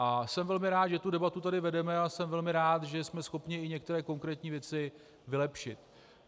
A jsem velmi rád, že tu debatu tady vedeme, a jsem velmi rád, že jsme schopni i některé konkrétní věci vylepšit.